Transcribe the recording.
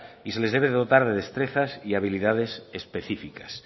y se les debe de dotar de destrezas y habilidades específicas